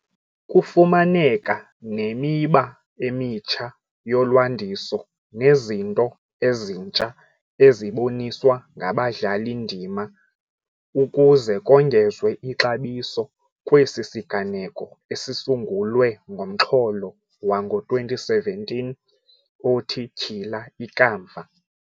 Kufumaneka nemiba emitsha yolwandiso nezinto ezintsha eziboniswa ngabadlali-ndima ukuze kongezwe ixabiso kwesi siganeko esisungulwe ngomxholo wango-2017 othi "Tyhila Ikamva".